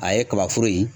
A ye kabaforo ye